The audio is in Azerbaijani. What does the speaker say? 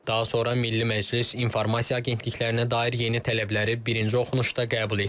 Daha sonra Milli Məclis informasiya agentliklərinə dair yeni tələbləri birinci oxunuşda qəbul etdi.